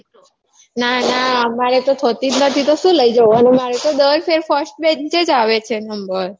ના ના અમારે તો થતી જ નથી તો શું લઇ જઉં અને મારો તો દર ફેર first bench જ આવે છે number